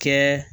Kɛ